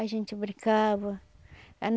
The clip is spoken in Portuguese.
A gente brincava.